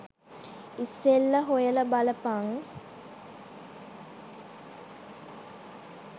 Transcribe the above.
ඉස්සෙල්ල හොයල බලපන්